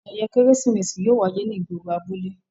Ayẹyẹ Keresimesi yóò waye ni igboro abule.